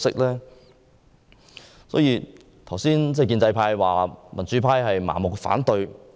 剛才有建制派議員批評民主派盲目反對。